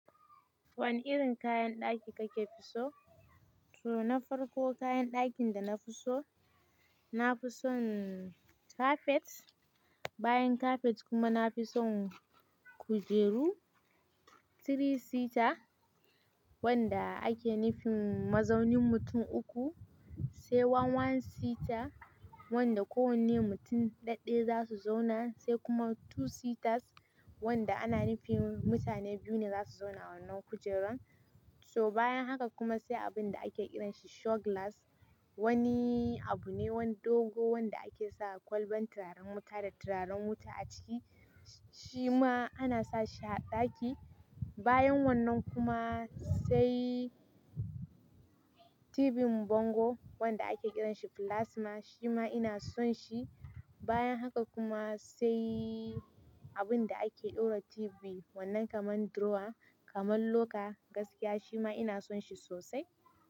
Wane irin kayan ɗaki kake so? To, na farko kayan ɗakin da na fi so, na fi son kafet. Bayan kafet kuma na fi son kujeru three seater wanda ake nufin mazaunin mutum uku, sai one one seater wanda kowane mutum ɗaɗɗe za su zauna, sai kuma two seaters wanda ana nufin mutane biyu ne za su zauna wannan kujerar. So bayan haka kuma sai abin da ake kiranshi show glass. Wani abu ne, wani dogo wanda ake sa kwalban turaren wuta da turaren wuta a ciki. Shi ma ana sa shi a ɗaki. Bayan wannan kuma sai tibin bango wanda ake kiranshi plasma. Shi ma ina son shi. Bayan haka kuma sai abin da ake ɗora TV wannan kamar drawer, kamar locker gaskiya shi ma ina son shi sosai.